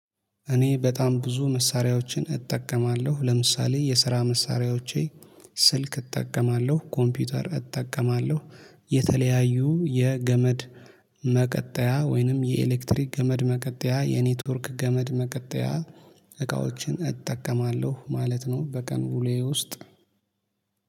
እኔ በጣም ብዙ መሳሪያዎችን እጠቀማለሁ ለምሳሌ የስራ መሳሪያዎቼ ስልክ እጠቀማለሁ ኮምፒውተር እጠቀማለሁ የተለያዩ የገመድ መቀጠያ ወይንም የኤሌክትሪክ ገመድ መቀጠያ የኔትወርክ ገመድ መቀጠያ እቃዎችን እጠቀማለሁ ማለት ነው። በቀን ውሎዬ ውስጥ